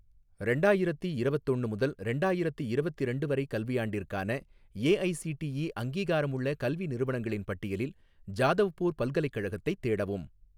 ரெண்டாயிரத்தி இரவத்தொன்னு முதல் ரெண்டாயிரத்து இரவத்திரண்டு வரை கல்வியாண்டிற்கான ஏஐசிடிஇ அங்கீகாரமுள்ள கல்வி நிறுவனங்களின் பட்டியலில் ஜாதவ்பூர் பல்கலைக்கழகத்தைத் தேடவும்